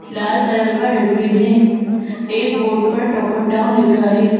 लाल colour का dustbin है एक बोर्ड पर टोपन टाउन लिखा है।